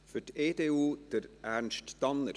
Für die EDU: Ernst Tanner.